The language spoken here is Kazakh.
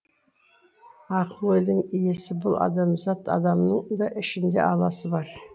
ақыл ойдың иесі бұл адамзат адамның да ішінде аласы бар